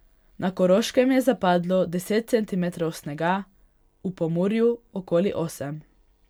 Na Koroškem je zapadlo deset centimetrov snega, v Pomurju okoli osem.